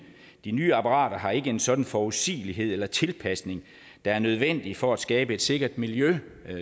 de nye apparater har ikke en sådan forudsigelighed eller tilpasning der er nødvendig for at skabe et sikkert miljø